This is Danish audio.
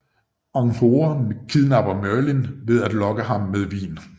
Anhora kidnapper Merlin ved at lokke ham med vin